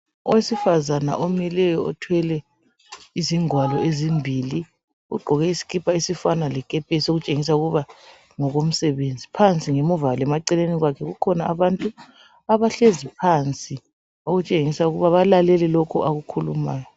Owesifazane omileyo othwele izingwalo ezimbili ogqoke isikipa esifana lekepesi okutshengisa ukuba ngokomsebenzi. Phansi ngemuva lemaceleni kwakhe kukhona abantu abahlezi phansi okutshengisa ukuba balale lokho akukhulumayo.